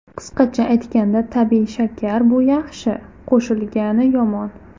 Qisqacha aytganda: tabiiy shakar bu yaxshi, qo‘shilgani yomon.